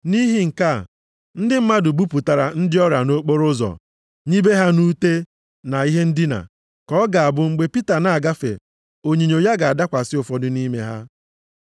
Nʼihi nke a, ndị mmadụ bupụtara ndị ọrịa nʼokporoụzọ nibe ha nʼute na ihe ndina, ka ọ ga-abụ mgbe Pita na-agafe onyinyo ya ga-adakwasị ụfọdụ nʼime ha.